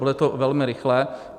Bude to velmi rychlé.